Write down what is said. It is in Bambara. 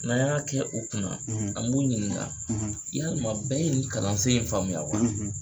N'an y'a kɛ u kunna , an b'o ɲininka , yalima bɛɛ ye nin kalansen in faamuya wa?